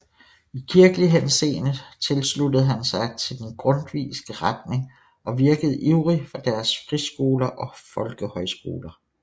I kirkelig henseende sluttede han sig til den grundtvigske retning og virkede ivrig for dens friskoler og folkehøjskoler